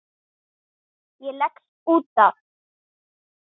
Ég leggst út af.